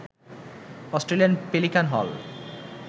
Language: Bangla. অস্ট্রেলিয়ান পেলিকান হল